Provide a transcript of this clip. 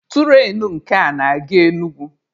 Turainu nke a na-aga Enugwu.